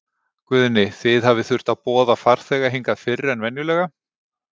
Guðni, þið hafið þurft að boða farþega hingað fyrr en venjulega?